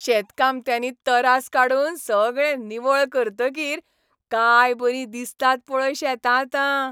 शेतकामत्यांनी तरास काडून सगळें निवळ करतकीर काय बरीं दिसतात पळय शेतां आतां.